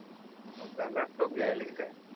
हो का लॅपटॉप घ्यायला की काय